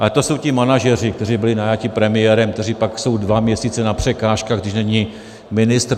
Ale to jsou ti manažeři, kteří byli najati premiérem, kteří pak jsou dva měsíce na překážkách, když není ministr.